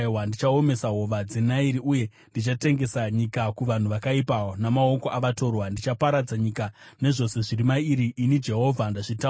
Ndichaomesa hova dzeNairi, uye ndichatengesa nyika kuvanhu vakaipa; namaoko avatorwa ndichaparadza nyika nezvose zviri mairi. Ini Jehovha ndazvitaura.